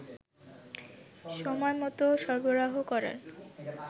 সময়মত সরবরাহ করার